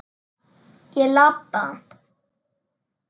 Ég labba.